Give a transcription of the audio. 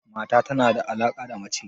Mata tana da alaka da mace